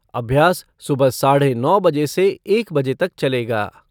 अभ्यास सुबह साढ़े नौ बजे से एक बजे तक चलेगा।